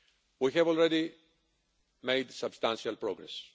We have already made substantial progress.